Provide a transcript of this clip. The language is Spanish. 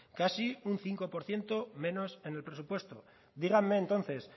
casi un cinco por ciento menos en el presupuesto díganme entonces